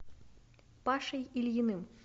пашей ильиным